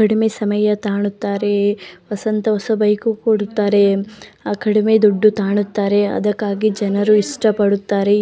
ಕಡಿಮೆ ಸಮಯ ತಗೊಳ್ಳುತ್ತಾರೆ ವಸಂತ ಹೊಸದಾದ ಬೈಕು ಕೊಡುತ್ತಾರೆ ಕಡಿಮೆ ದುಡ್ಡು ತಗೊಳ್ಳುತ್ತಾರೆ ಅದಕ್ಕಾಗಿ ಅದಕ್ಕೆ ಜನರು ಇಷ್ಟಪಡುತ್ತಾರೆ.